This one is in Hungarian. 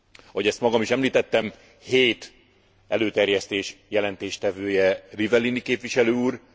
Ahogy ezt magam is említettem, hét előterjesztés jelentésvetője Rivellini képviselő úr.